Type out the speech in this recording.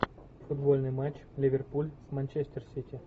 футбольный матч ливерпуль с манчестер сити